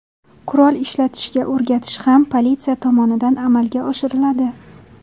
Qurol ishlatishga o‘rgatish ham politsiya tomonidan amalga oshiriladi.